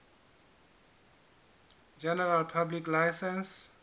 general public license